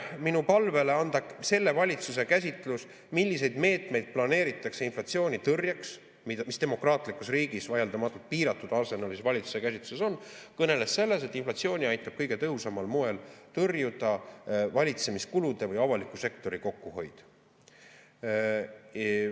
Minu palve peale anda selle valitsuse käsitlus, milliseid meetmeid planeeritakse inflatsioonitõrjeks, mis demokraatlikus riigis vaieldamatult piiratud arsenalis valitsuse käsitluses on, kõneles proua rahandusminister sellest, et inflatsiooni aitab kõige tõhusamal moel tõrjuda valitsemiskulude või avaliku sektori kokkuhoid.